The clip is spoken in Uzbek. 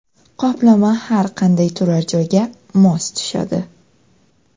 Qoplama har qanday turar joyga mos tushadi.